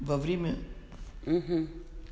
вовремя